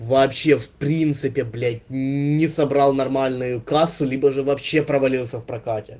вообще в принципе блять не собрал нормальную кассу либо же вообще провалился в прокате